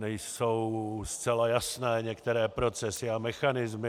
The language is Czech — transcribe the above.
Nejsou zcela jasné některé procesy a mechanismy.